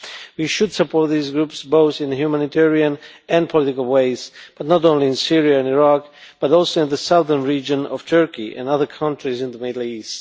We should support these groups, both in the humanitarian and political ways but not only in Syria and Iraq, but also in the southern region of Turkey and other countries in the Middle East.